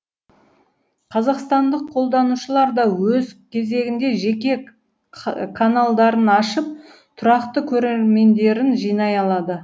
қазақстандық қолданушылар да өз кезегінде жеке каналдарын ашып тұрақты көрермендерін жинай алады